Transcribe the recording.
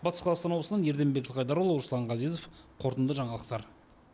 батыс қазақстан облысынан ерденбек жылқыайдарұлы руслан ғазезов қорытынды жаңалықтар